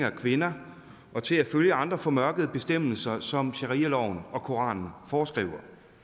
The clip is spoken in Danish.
af kvinder og til at følge andre formørkede bestemmelser som sharialoven og koranen foreskriver